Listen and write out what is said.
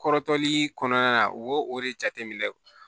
Kɔrɔtɔli kɔnɔna na u b'o o de jateminɛ